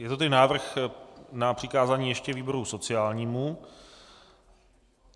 Je to tedy návrh na přikázání ještě výboru sociálnímu.